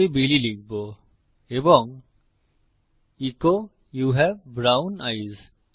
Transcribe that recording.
আমি বিলি লিখব এবং echo you have brown ice